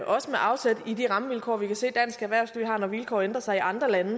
også med afsæt i de rammevilkår vi kan se dansk erhvervsliv har når vilkårene ændrer sig i andre lande